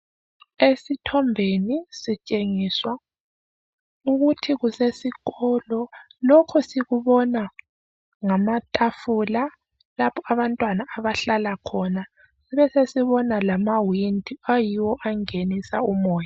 Esithombeni sitshengiswa ukuthi kusesikolo lokhu sikubona ngamatafula lapha abantwana abahlala khona besesibona lamawindi ayiwo angenisa umoyo.